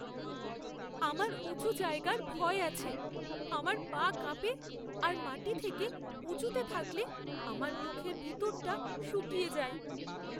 আমার উঁচু জায়গার ভয় আছে। আমার পা কাঁপে আর মাটি থেকে উঁচুতে থাকলে আমার মুখের ভিতরটা শুকিয়ে যায়।